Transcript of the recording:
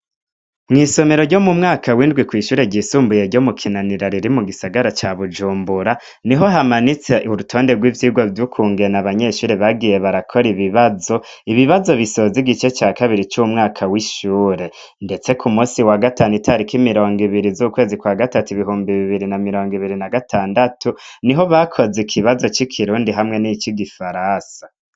Mw’isomero ryo mu mwaka w’indwi kwishure ryisumbuye ryo mu kinanira riri mu gisagara ca bujumbura niho hamanitse urutonde rw’ivyigwa vyukungene abanyeshure bagiye barakora ibibazo ibibazo bisoza igice ca kabiri c’umwaka w’ishure ndetse ku musi wa gatanu itariki mirongo ibiri z’ukwezi kwa gatatu umwaka w’ibibumbi mirongo ibiri na birongo ibiri na gatandatu niho bakoze ikizo c’ikirundi hamwe nicigifaransa.